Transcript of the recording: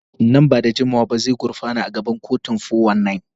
Nan ba da jimawa ba zai gurfana a gaban kotu kan 419.